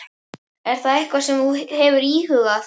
Er það eitthvað sem þú hefur íhugað?